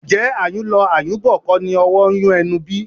Ǹjẹ́ ayùn lọ, ayùn bọ̀ kọ́ni owó ń yun ẹnu bí?